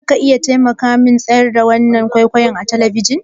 Zaka iya taimakamin tsayar da wasan kwaikwayon nan a tabishin?